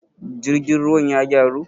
jirgin ruwan ya gyaru?